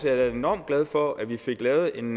jeg da enormt glad for at vi fik lavet en